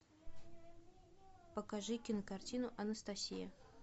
покажи кинокартину анастасия